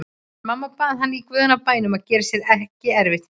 En mamma bað hann í guðanna bænum að gera sér ekki erfitt fyrir.